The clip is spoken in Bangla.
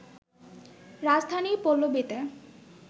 রাজধানীর পল্লবীতে